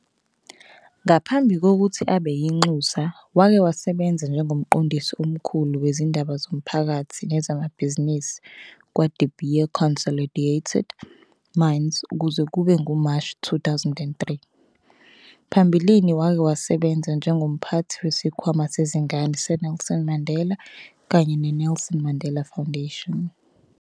Ngaphambi kokuthi abe yinxusa wake wasebenza njengomqondisi omkhulu wezindaba zomphakathi nezamabhizinisi kwaDe Beer Consolidated Mines kuze kube nguMashi 2003. Phambilini wake wasebenza njengomphathi weSikhwama Sezingane seNelson Mandela kanye neNelson Mandela Foundation.